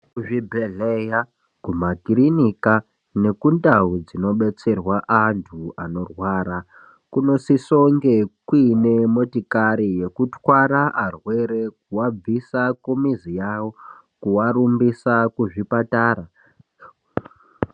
Kuzvibhedhlera kumakirinika nekundau dzinobatsirwa antu vanorwara kunosusa kunge kuine motikari yekutwara arwere kuabvisa kumizi yawo kuwarumbisa kuzvipatara .